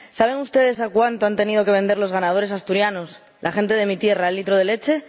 ¿Saben ustedes a cuánto han tenido que vender los ganaderos asturianos, la gente de mi tierra, el litro de leche?